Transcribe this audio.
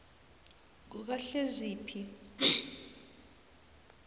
kukahleziphi